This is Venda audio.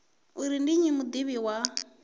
uri ndi nnyi mudivhi wa